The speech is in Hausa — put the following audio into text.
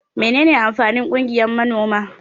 Mene ne amfanin ƙungiyan manoma?